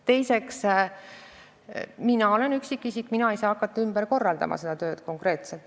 Teiseks, mina olen üksikisik, mina ei saa hakata seda tööd konkreetselt ümber korraldama.